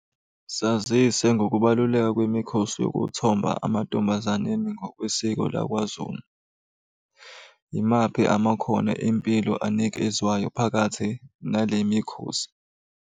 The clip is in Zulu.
Sazise ngokubaluleka kwemikhosi yokuthomba amantombazaneni ngokwesiko lakwaZulu. Imaphi amakhono empilo anikezwayo phakathi nale mikhosi?